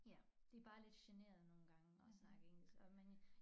Ja de bare lidt generede nogle gange at snakke engelsk og men